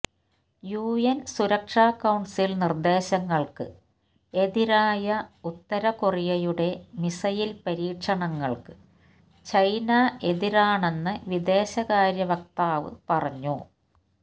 UN സുരക്ഷാ council നിർദേശങ്ങൾക്ക് എതിരായ ഉത്തര കൊറിയയുടെ മിസൈൽ പരീക്ഷണങ്ങൾക്ക് ചൈന എതിരാണെന്ന് വിദേശകാര്യ വക്താവ് പറഞ്ഞു